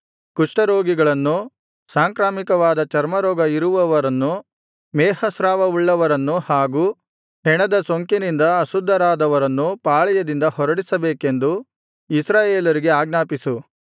ಕುಷ್ಠರೋಗಿಗಳನ್ನು ಸಾಂಕ್ರಾಮಿಕವಾದ ಚರ್ಮರೋಗ ಇರುವವರನ್ನು ಮೇಹಸ್ರಾವವುಳ್ಳವರನ್ನು ಹಾಗು ಹೆಣದ ಸೋಂಕಿನಿಂದ ಅಶುದ್ಧರಾದವರನ್ನು ಪಾಳೆಯದಿಂದ ಹೊರಡಿಸಬೇಕೆಂದು ಇಸ್ರಾಯೇಲರಿಗೆ ಆಜ್ಞಾಪಿಸು